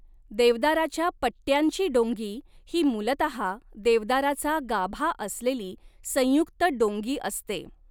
देवदाराच्या पट्ट्यांची डोंगी ही मूलतहा देवदाराचा गाभा असलेली संयुक्त डोंगी असते.